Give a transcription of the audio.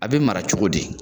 A be mara cogo di?